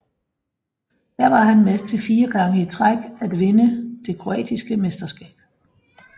Her var han med til fire gange i træk at vinde det kroatiske mesterskab